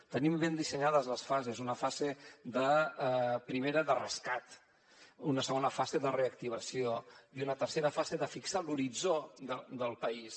tenim ben dissenyades les fases una fase primera de rescat una segona fase de reactivació i una tercera fase de fixar l’horitzó del país